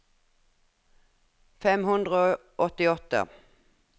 fem hundre og åttiåtte